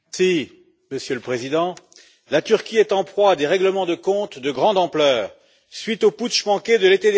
Monsieur le Président, la Turquie est en proie à des règlements de comptes de grande ampleur à la suite du putsch manqué de l'été dernier.